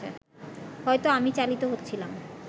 হয়তো আমি চালিত হচ্ছিলাম